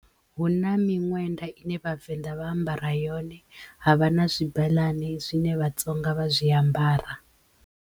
Huna miṅwenda ine Vhavenḓa vha ambara yone havha na zwibeḽane zwine Vhatsonga vha zwi ambara.